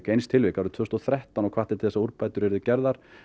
eins tilvik árið tvö þúsund og þrettán og hvatti til þess að úrbætur yrðu gerðar